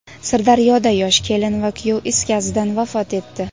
Sirdaryoda yosh kelin va kuyov is gazidan vafot etdi.